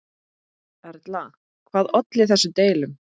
Erla, hvað olli þessum deilum?